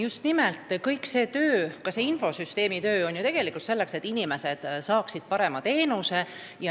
Just nimelt, kõik see töö, ka see infosüsteemi arendamise töö on selleks, et inimesed saaksid parema teenuse.